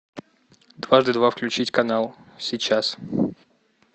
дважды два включить канал сейчас